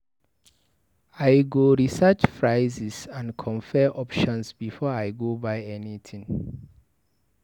I go research prices and compare options before I go buy anything.